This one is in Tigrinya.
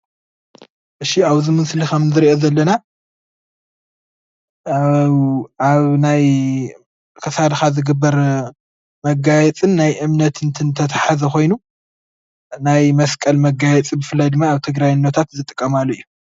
እሺ ኣብዚ ምስሊ ከም እንሪኦ ዘለና ኣብ ናይ ክሳድካ ዝግበር መጋየፂ ናይ እምነት እንትን ዝተትሓሓዘ ኾይኑ ናይ መስቀል መጋየፂ ብፍላይ ድማ ኣብ ትግራይ እኖታት ዝጥቀማሉ እዩ።